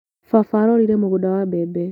Baba arorire mũgunda wa mbembe.